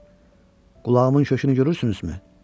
Baxın, qulağımın kökünü görürsünüzmü?